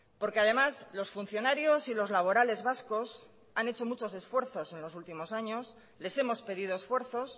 porque además los funcionarios y los laborales vascos han hecho muchos esfuerzos en los últimos años les hemos pedido esfuerzos